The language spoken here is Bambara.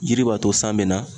Yiri b'a to san be na.